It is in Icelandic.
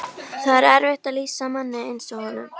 Það er erfitt að lýsa manni eins og honum.